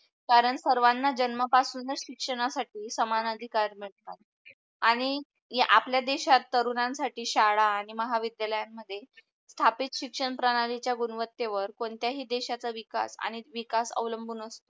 कारण सर्वण जन्मा पासूनच शिक्षणासाठी समान अधिकार मिडतात, आणि आपल्या देशात तरूणांसाठी शाळा आणि महाविद्यालयान मध्ये स्थापित शिक्षण प्राणलीच्या गुणवतेवर कोणत्या ही देशच्या विकास आणि विकास अवलंबून असतो.